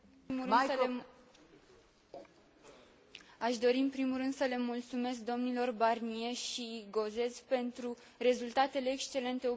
Aș dori în primul rând să le mulțumesc domnilor Barnier și Gauzès pentru rezultatele excelente obținute în urma ultimelor negocieri.